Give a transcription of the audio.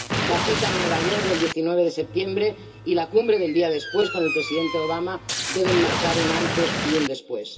La cita en Nueva York, el 19 de septiembre, y la Cumbre del día después con el Presidente Obama deben marcar un antes y un después.